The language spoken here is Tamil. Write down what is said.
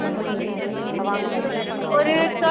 ஆஹ் okay mam பண்ணலாம் mam அப்போ